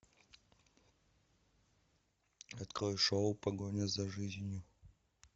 открой шоу погоня за жизнью